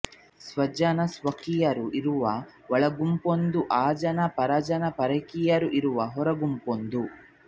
ಸ್ವಜನ ಸ್ವಕೀಯರು ಇರುವ ಒಳಗುಂಪೊಂದು ಆ ಜನ ಪರಜನ ಪರಕೀಯರು ಇರುವ ಹೊರಗುಂಪೊಂದು